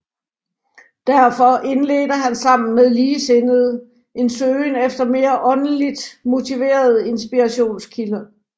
Derfor indledte han sammen med ligesindede en søgen efter mere åndeligt motiverede inspirationskilder